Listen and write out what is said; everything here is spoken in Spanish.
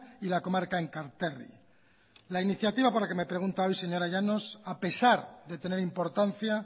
y la comarca enkarterri la iniciativa por la que pregunta hoy señora llanos a pesar de tener importancia